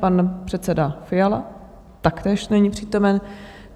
Pan předseda Fiala taktéž není přítomen.